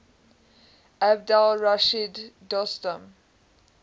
abdul rashid dostum